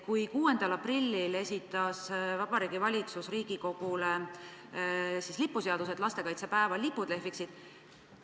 6. aprillil esitas Vabariigi Valitsus Riigikogule lipuseaduse, selleks et lastekaitsepäeval lipud lehviksid.